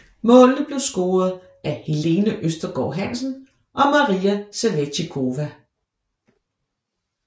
Målene blev scoret af Helene Østergaard Hansen og Maria Sevicikova